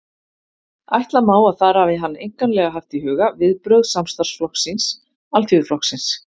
Ætla má, að þar hafi hann einkanlega haft í huga viðbrögð samstarfsflokks síns, Alþýðuflokksins.